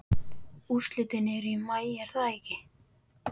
Úrslitin eru í maí er það ekki?